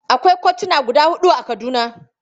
Akwai kotuna guda huɗu a Kaduna.